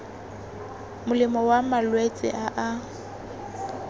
molemo wa malwetse a a